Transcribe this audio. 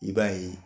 I b'a ye